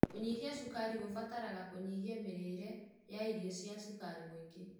Kũnyihia cukari kũbataraga kũnyihia mĩrĩire ya irio cina cukaru mũingĩ.